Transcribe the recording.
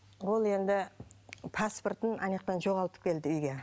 ол енді паспортын анаяқтан жоғалтып келді үйге